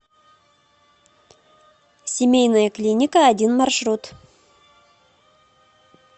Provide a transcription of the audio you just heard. семейная клиника один маршрут